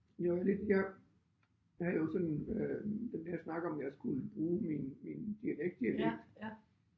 Det var lidt jeg jeg havde jo sådan øh den her snak om jeg skulle bruge min min dialekt dialekt